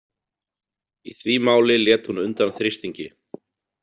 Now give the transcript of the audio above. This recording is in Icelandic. Í því máli lét hún undan þrýstingi.